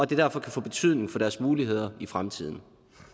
det derfor kan få betydning for deres muligheder i fremtiden